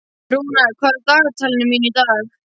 Rúnar, hvað er á dagatalinu mínu í dag?